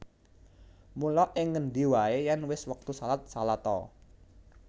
Mula ing ngendi waé yèn wis wektu shalat shalat a